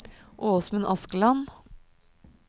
Åsmund Askeland